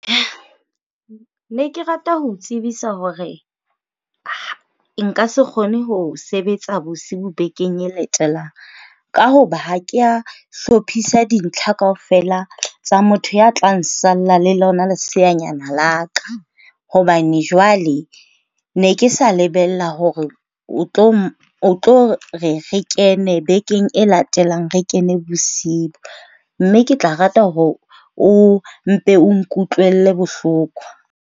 Ne ke rata ho o tsebisa hore nka se kgone ho sebetsa bosiu bekeng e latelang. Ka hoba ha ke a hlophisa dintlha kaofela tsa motho ya tla salla le lona leseanyane la ka, hobane jwale ne ke sa lebella hore o tlo re re kene bekeng e latelang, re kene bosiu. Mme ke tla rata hore o mpe o nkutlwele bohloko.